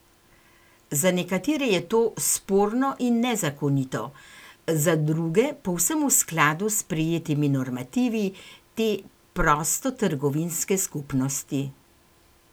Za nekatere je to sporno in nezakonito, za druge povsem v skladu s sprejetimi normativi te prostotrgovinske skupnosti.